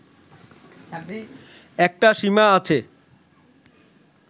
একটা সীমা আছে